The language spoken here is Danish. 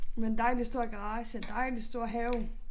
Med en dejlig stor garage dejlig stor have